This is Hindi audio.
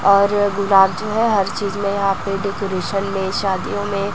और गुलाब जो है हर चीज में यहां पे डेकोरेशन में शादियों में--